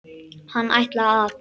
Hann ætlaði að.